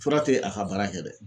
Fura tɛ a ka baara kɛ dɛ.